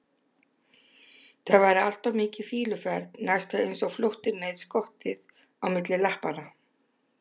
það væri allt of mikil fýluferð, næstum eins og flótti með skottið á milli lappanna.